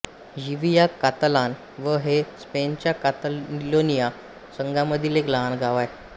यिविया Catalan व हे स्पेनच्या कातालोनिया संघामधील एक लहान गाव आहे